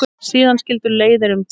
Síðan skildu leiðir um tíma.